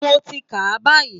Mo ti ń kà á báyìí